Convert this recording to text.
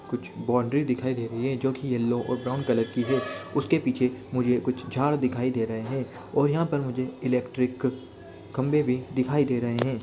कुछ बॉउंड्री दिखाई दे रही है जो की यलो और ब्राउन कलर की है उसके पीछे मुझे कुछ झाड़ दिखाई दे रहे है और यहाँ पे मुझे इलेक्ट्रिक खम्बे भी दिखाई दे रहे है।